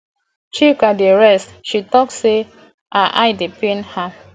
chika dey rest she talk say her eye dey pain am